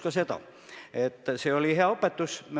Ja teine probleem on hooldekodud.